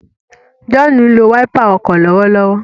John nlò Wáípà ọkọ lọwọlọwọ.